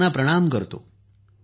मी त्यांना प्रणाम करतो